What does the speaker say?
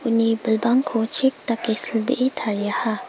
uni bilbangko chek dake silbee tariaha.